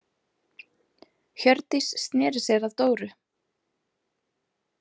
Hjördís sneri sér að Dóru.